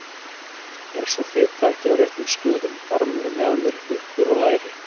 Er sú fita ekki á réttum stöðum: barmur, mjaðmir, huppur og læri?